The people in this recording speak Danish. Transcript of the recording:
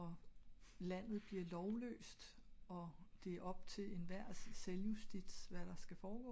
og landet bliver lovløst og det op til enhver selvjustits hvad der skal foregå